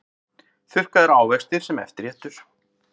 Þurrkaðir ávextir sem eftirréttur